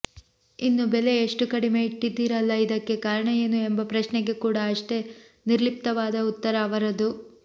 ಇನ್ನು ಬೆಲೆ ಇಷ್ಟು ಕಡಿಮೆ ಇಟ್ಟಿದ್ದೀರಲ್ಲಾ ಇದಕ್ಕೆ ಕಾರಣ ಏನು ಎಂಬ ಪ್ರಶ್ನೆಗೆ ಕೂಡ ಅಷ್ಟೇ ನಿರ್ಲಿಪ್ತವಾದ ಉತ್ತರ ಅವರದು